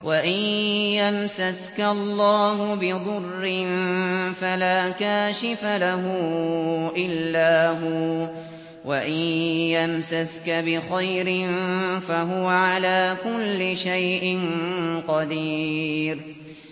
وَإِن يَمْسَسْكَ اللَّهُ بِضُرٍّ فَلَا كَاشِفَ لَهُ إِلَّا هُوَ ۖ وَإِن يَمْسَسْكَ بِخَيْرٍ فَهُوَ عَلَىٰ كُلِّ شَيْءٍ قَدِيرٌ